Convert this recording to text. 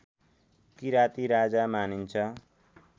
किराती राजा मानिन्छ